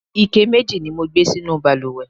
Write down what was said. ike mẹji ni mo gbé sínú ìbalùwẹ̀